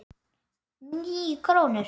Níu krónur?